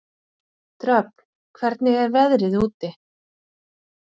Dröfn, hvernig er veðrið úti?